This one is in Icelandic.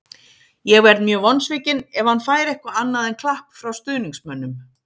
Ég verð mjög vonsvikinn ef hann fær eitthvað annað en klapp frá stuðningsmönnum.